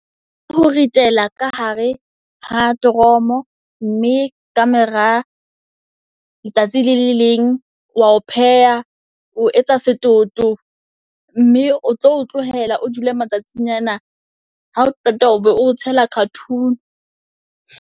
Ho ritela ka hare ha toromo mme ka mora letsatsi le le leng wa o pheha. O etsa setoto mme o tlo o tlohela o dule matsatsinyana ha o qeta o be o tshela cartoon.